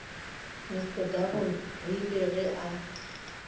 mr double rile ge a